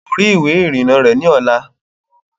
Kò rí ìwé ìrìnnà rẹ̀ ní ọ̀la